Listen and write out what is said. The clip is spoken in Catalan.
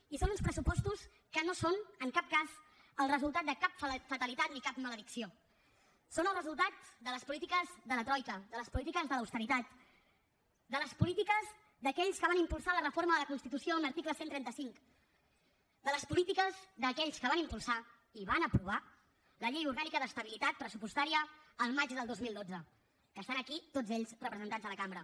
i són uns pressupostos que no són en cap cas el resultat de cap fatalitat ni cap maledicció són el resultat de les polítiques de la troica de les polítiques de l’austeritat de les polítiques d’aquells que van impulsar la reforma de la constitució amb l’article cent i trenta cinc de les polítiques d’aquells que van impulsar i van aprovar la llei orgànica d’estabilitat pressupostària al maig del dos mil dotze que estan aquí tots ells representats a la cambra